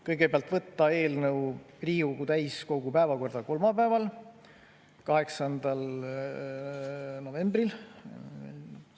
Kõigepealt, võtta eelnõu Riigikogu täiskogu päevakorda kolmapäeval, 8. novembril.